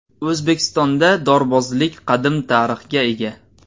O‘zbekistonda dorbozlik qadim tarixga ega.